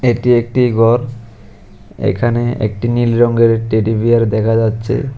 এটি একটি ঘর এখানে একটি নীল রঙের টেডি বিয়ার দেখা যাচ্ছে।